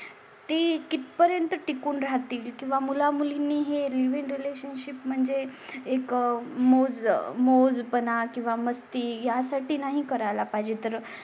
ती किती पर्यंत टिकून राहतील किंवा मुला मुलींनी हे लिव्ह इन रिलेशनशिप म्हणजे. एक मोज मोज पणा किंवा मस्ती यासाठी नाही करायची तर